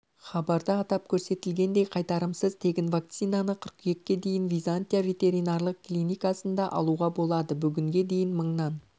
хабарда атап көрсетілгендей қайтарымсыз тегін вакцинаны қыркүйекке дейін византия ветеринарлық клиникасында алуға болады бүгінге дейін мыңнан